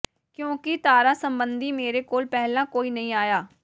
ਕਿਉਂਕਿ ਤਾਰਾਂ ਸੰਬੰਧੀ ਮੇਰੇ ਕੋਲ ਪਹਿਲਾਂ ਕੋਈ ਨਹੀਂ ਆਇਆ